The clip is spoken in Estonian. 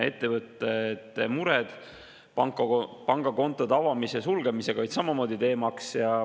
Ettevõtete mured pangakontode avamise ja sulgemisega olid samamoodi teemaks.